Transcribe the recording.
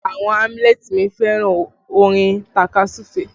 Àwọn alamuleti mi fẹ́ràn orin takasufe